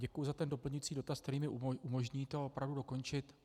Děkuji za ten doplňující dotaz, který mi umožní to opravdu dokončit.